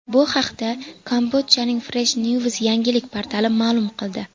Bu haqda Kambodjaning Fresh News yangilik portali ma’lum qildi .